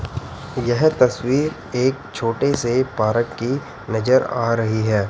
यह तस्वीर एक छोटे से पारक की नजर आ रही है।